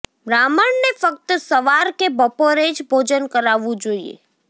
બ્રાહ્મણને ફક્ત સવાર કે બપોરે જ ભોજન કરાવવું જોઈએ